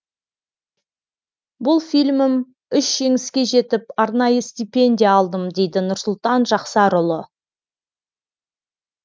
бұл фильмім үш жеңіске жетіп арнайы стипендия алдым дейді нұрсұлтан жақсарұлы